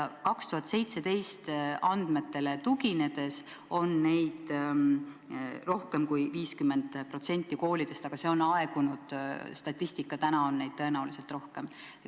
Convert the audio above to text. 2017. aasta andmetele tuginedes on neid rohkem kui 50% koolidest, aga see on aegunud statistika, täna on neid tõenäoliselt rohkem.